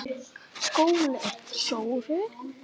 SKÚLI: Sóru?